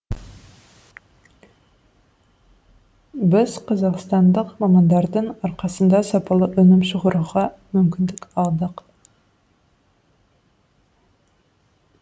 біз қазақстандық мамандардың арқасында сапалы өнім шығаруға мүмкіндік алдық